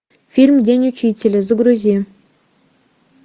фильм день учителя загрузи